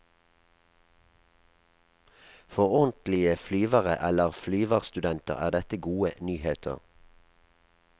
For ordentlige flyvere eller flyverstudenter er dette gode nyheter.